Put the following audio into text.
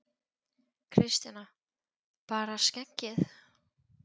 Kristjana: Bara skeggið?